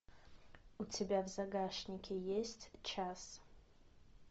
у тебя в загашнике есть час